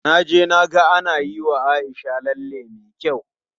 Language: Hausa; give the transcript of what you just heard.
Na je na ga ana yiwa Aisha lalle me kyau.